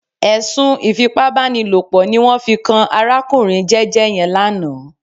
Ẹ̀sùn ìfipábánilòpọ̀ ní wọ́n fi kan arákùnrin jẹ́jẹ́ yẹn lánàá